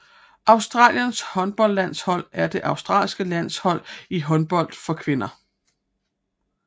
Australiens håndboldlandshold er det australske landshold i håndbold for kvinder